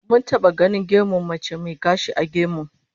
Mun taba ganin gemun mace mai gashi a gemun